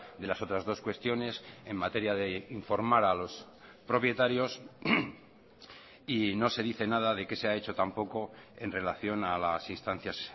de las otras dos cuestiones en materia de informar a los propietarios y no se dice nada de qué se ha hecho tampoco en relación a las instancias